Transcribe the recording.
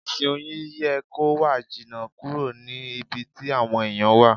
Ìsìn Oyin yẹ kó wà jìnà kúrò ní ibi tí àwọn ẹ̀yàn wà.